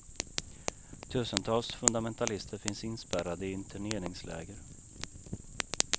Tusentals fundamentalister finns inspärrade i interneringsläger.